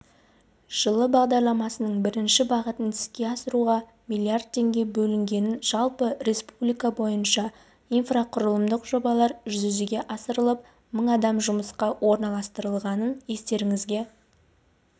жылы бағдарламасының бірінші бағытын іске асыруға млрд теңге бөлінгенін жалпы республика бойынша инфрақұрылымдық жобалар жүзеге асырылып мың адам жұмысқа орналастырылғанын естеріңізге